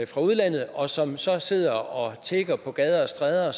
fra udlandet og som så sidder og tigger på gader og stræder